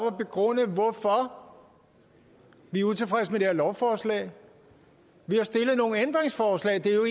at begrunde hvorfor vi er utilfredse med det her lovforslag vi har stillet nogle ændringsforslag det er jo